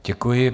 Děkuji.